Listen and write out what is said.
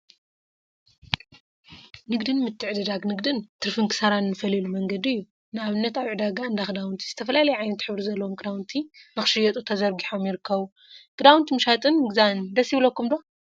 ንግድን ምትዕድዳን ንግድን ምትዕድዳን ትርፊን ክሳራን እንፈልየሉ መንገዲ እዩ፡፡ ንአብነት አብ ዕዳጋ እንዳ ከዳውንቲ ዝተፈላለየ ዓይነትን ሕብሪ ዘለዎም ክዳውንቲ ንክሽየጡ ተዘርጊሖም ይርከቡ፡፡ ክዳውንቲ ምሻጥን ምግዛእን ደስ ይብለኩም ዶ?